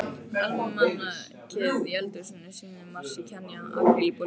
Almanakið í eldhúsinu sýnir mars í Kenýa, apríl í Búlgaríu.